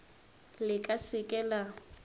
le ka se ke la